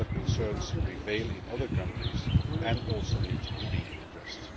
Similar concerns prevail in other countries and also need to be addressed.